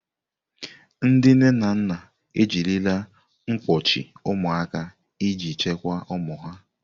Ndị nne na nna ejirila mkpọchi ụmụaka iji chekwaa ụmụ ha.